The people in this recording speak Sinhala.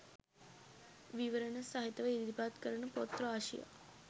විවරණ සහිතව ඉදිරිපත් කරන පොත් රාශියක්